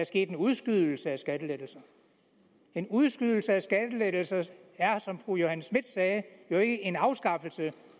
sket en udskydelse af skattelettelserne en udskydelse af skattelettelserne er som fru johanne schmidt nielsen sagde jo ikke en afskaffelse